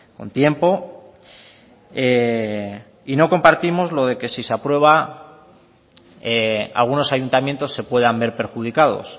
con tiempo y no compartimos lo de que si se aprueba algunos ayuntamientos se puedan ver perjudicados